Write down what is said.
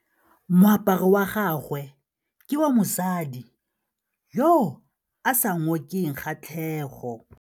Moaparô wa gagwe ke wa mosadi yo o sa ngôkeng kgatlhegô.